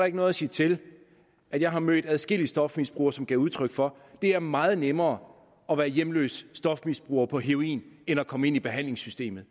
ikke noget at sige til at jeg har mødt adskillige stofmisbrugere som gav udtryk for det er meget nemmere at være hjemløs stofmisbruger på heroin end at komme ind i behandlingssystemet